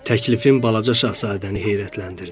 Təklifim balaca şahzadəni heyrətləndirdi.